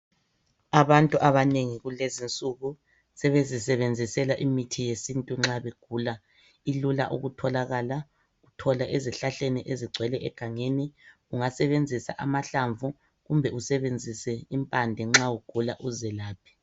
Abantu abanengi kulezi insuku sebezisebenzisela imithi yesintu, nxa begula. Ilula ukutholakala. Itholwa ezihlahleni ezigcwele egangeni. Ungasebenzisa amahlamvu kumbe usebenzise impande, nxa ugula. Uzelaphe.